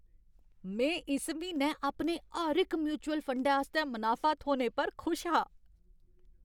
में इस म्हीनै अपने हर इक म्युचल फंडें आस्तै मनाफा थ्होने पर खुश हा।